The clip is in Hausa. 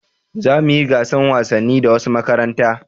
Za mu yi gasan wasanni da wasu makaranta